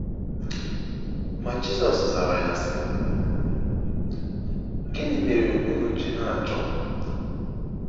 Ma Jizọs zara ya, sị: “ Gịnị mere unu ji na-achọ m?